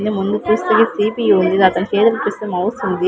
ముందు చూస్తే సి_పి_యు ఉంది అతని చేతి చూస్తే మౌస్ ఉంది.